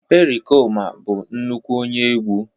pericoma bụ nnukwu onye n'egwu